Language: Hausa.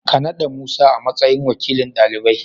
Ka naɗa Musa a matsayin wakilin ɗalibai.